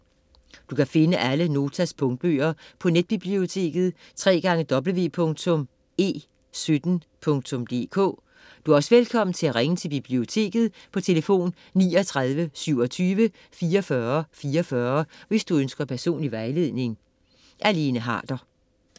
Du kan finde alle Notas punktbøger på netbiblioteket www.e17.dk. Du er også velkommen til at ringe til biblioteket på tlf. 39 27 44 44, hvis du ønsker personlig vejledning.